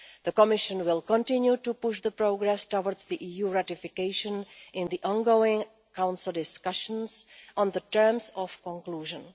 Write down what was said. The Commission will continue to push the progress towards the EU ratification in the ongoing Council discussions on the terms of conclusion.